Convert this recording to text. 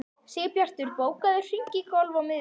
Sigbjartur, bókaðu hring í golf á miðvikudaginn.